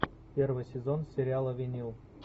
первый сезон сериала винил